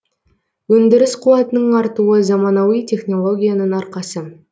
өндіріс қуатының артуы заманауи технологияның арқасы